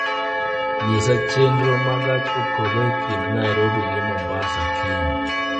nyisa chenro ma gach okoloe kind nairobi gi mombasa kiny